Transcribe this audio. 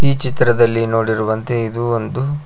ಈ ಚಿತ್ರದಲ್ಲಿ ನೋಡಿರುವಂತೆ ಇದು ಒಂದು--